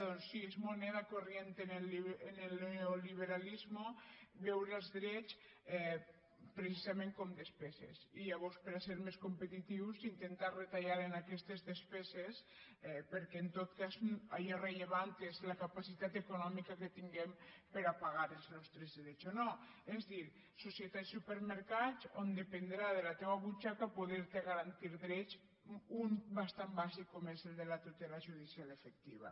doncs sí és moneda corriente en el neoliberalismo veure els drets precisament com despeses i llavors per a ser més competitius intentar retallar en aquestes despeses perquè en tot cas allò rellevant és la capacitat econòmica que tinguem per a pagar els nostres drets o no és a dir societats supermercats on dependrà de la teua butxaca poder te garantir drets un de bastant bàsic com és el de la tutela judicial efectiva